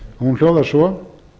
hún hljóðar svo